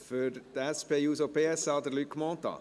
Für die SP-JUSO-PSA-Fraktion: Luc Mentha.